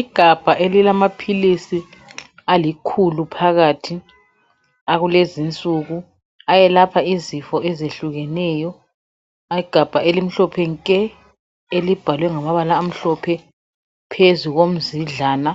Igabha elilamaphilisi alikhulu phakathi akulezinsuku ayelapha izifo ezehlukeneyo. Igabha elimhlophe nke elibhalwe ngamabala amhlophe phezu komzidlana